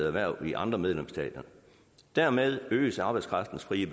erhverv i andre medlemsstater dermed øges arbejdskraftens frie